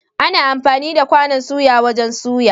Ana amfani da kwanon suya wajen suya.